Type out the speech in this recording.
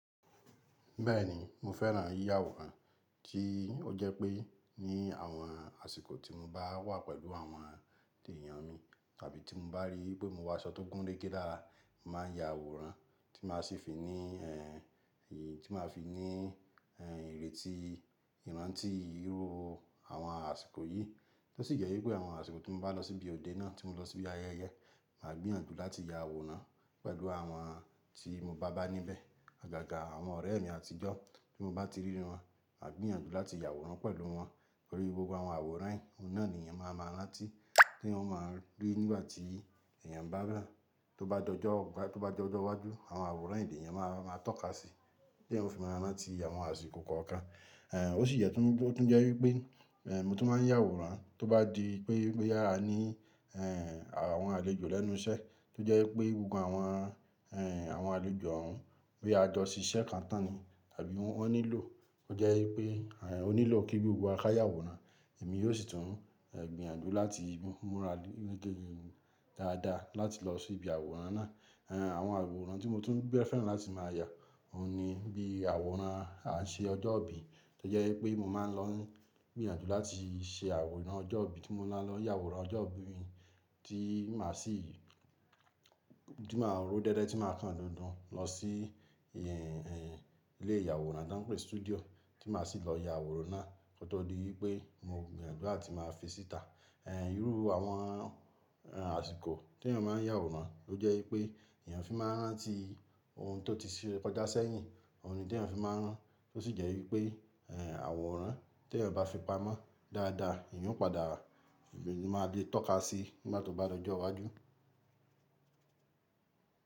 Bẹ́ẹ̀ni mo fẹ́ràn yíya àwòrán, tí ó jẹ́ pé ní àwọn àsìkò tí mo bá wà pẹ̀lú àwọn èèyàn mi tàbí tí mo bá rí pé mo wọ aṣọ tó gúnrégé lára, mo màá ya àwòrán tí màá sì fi ní ẹ̀, tí màá fi ní ẹ̀, ìrètí, ìrántí irú àwọn àsìkò yìí. Tó sì jẹ́ wípé àwọn àsìkò tí mo bá lọ sí ibi òde náà, tí mo lọ sí ibi ayẹyẹ, màá gbìyànjú láti ya àwòrán pẹ̀lú àwọn tí mo bá bá níbẹ̀ àgàgà àwọn ọ̀rẹ́ mi àtijọ́ tí mo bá ti rí wọn, màá gbìyànjú láti ya àwòrán pẹ̀lú wọn. Torí gbogbo àwọn àwòrán yìí, òun náà ni èèyàn máa máa rántí teeyan ọ́ máa rí nígbà tí èèyàn bá ràn. Tó bá dojọ́, tó bá dojọ́ ọjọ́ iwájú, àwọn àwòrán yii lèèyàn máa ma tọ́ka sí tí èèyàn o fi máa rántí àwọn àsìkò kọ̀ọ̀kan. O sì yẹ́ tún tún jẹ́ wípé e mo tún máa ń yá àwòrán tó bá di pé boyá a ní àwọn àlejò lẹ́nu iṣẹ́, tó jẹ́ wípé gbogbo àwọn àwọn àlejò ọ̀un pe a jọ ṣiṣẹ́ kan tán ni tàbí wọ́n nílò ó jẹ́ wípé ó nílò kí gbogbo wa ká yà àwòrán èmi yóò sì tún gbìyànjú láti múra gunrege dáadáa láti lọ sí ibi àwòrán náà. Àwọn àwòrán tí mo tún bẹ́ẹ̀ fẹ́ràn láti máa yá òun ni bí àwòrán a ṣe ọjọ́ ìbí tó jẹ́ wípé mo máa ń lọ n gbìyànjú láti ṣe àwòrán ọjọ́ ìbí tí mo maa lọ ń yà àwòrán ọjọ́ ìbí mi tí màá sì tí màá rọ déédéé tí màá kan dandan lọ sí e e ilé ìyàwòrán to ń pè studio tí màá sì lọ ya àwòrán náà. Kótó di wípé mo gbìyànjú láti máa fi síta. Irú àwọn àsìkò tí èèyàn máa ń yà àwòrán ló jẹ́ wípé èèyàn fi máa ń rántí ohun tó ti se kọjá sẹ́yìn, òun ni tí èèyàn fi máa ń rántí, tó sì jẹ́ wípé e àwòrán tí èèyàn bá fi pamọ́ dáadáa ìyẹn ó padà máa lè tọ́ka sí nígbà tó bá dojú iwájú.